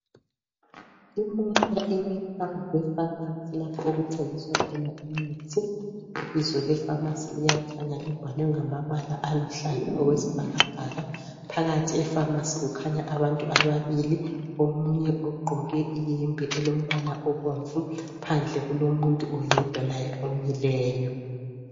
Imota emi phambi kwepharmacy lapho okuthengiswa khona imithi .Ibizo lepharmacy liyakhanya libhalwe ngamabala aluhlaza okwesibhakabhaka .Phakathi epharmacy kukhanya abantu ababili omunye ugqoke iyembe elombala obomvu .Phandle kulomuntu oyedwa laye omileyo .